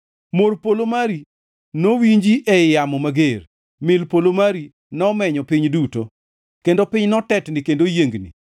Mor polo mari nowinji ei yamo mager, mil polo mari nomenyo piny duto, kendo piny notetni kendo oyiengni.